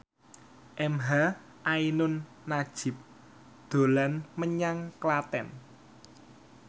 emha ainun nadjib dolan menyang Klaten